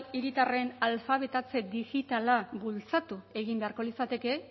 hiritarren alfabetatze digitala bultzatu egin beharko litzateke